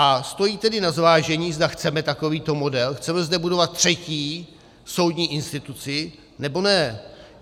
A stojí tedy za zvážení, zda chceme takovýto model, chceme zde budovat třetí soudní instituci, nebo ne.